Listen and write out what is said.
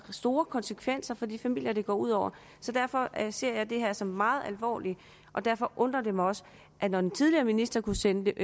store konsekvenser for de familier det går ud over så derfor ser jeg det her som noget meget alvorligt og derfor undrer det mig også når den tidligere minister kunne sende